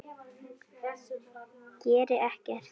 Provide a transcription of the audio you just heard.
Geri ekkert.